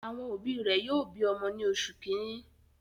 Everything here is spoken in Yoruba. Àwọn òbí rẹ̀ yóò bi ọmọ ní oṣù kìíní.